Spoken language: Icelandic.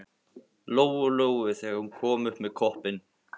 Lóu Lóu þegar hún kom upp með koppinn.